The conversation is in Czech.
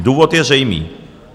Důvod je zřejmý.